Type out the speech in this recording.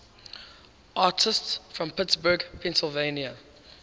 artists from pittsburgh pennsylvania